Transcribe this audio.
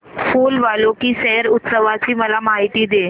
फूल वालों की सैर उत्सवाची मला माहिती दे